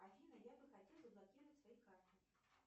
афина я бы хотела заблокировать свои карты